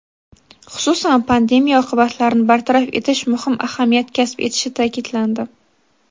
xususan pandemiya oqibatlarini bartaraf etish muhim ahamiyat kasb etishi ta’kidlandi.